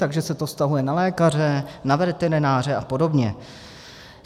Takže se to vztahuje na lékaře, na veterináře a podobně.